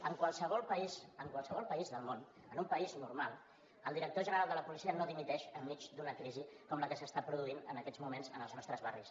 en qualsevol país en qualsevol país del món en un país normal el director general de la policia no dimiteix enmig d’una crisi com la que s’està produint en aquests moments en els nostres barris